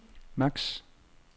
max